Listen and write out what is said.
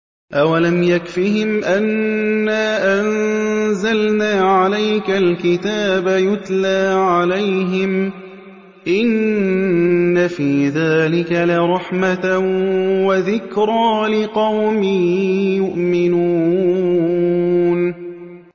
أَوَلَمْ يَكْفِهِمْ أَنَّا أَنزَلْنَا عَلَيْكَ الْكِتَابَ يُتْلَىٰ عَلَيْهِمْ ۚ إِنَّ فِي ذَٰلِكَ لَرَحْمَةً وَذِكْرَىٰ لِقَوْمٍ يُؤْمِنُونَ